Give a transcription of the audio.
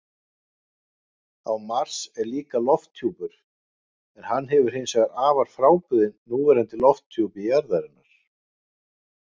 Á Mars er líka lofthjúpur, en hann er hins vegar afar frábrugðinn núverandi lofthjúpi jarðarinnar.